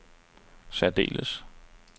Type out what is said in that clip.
særdeles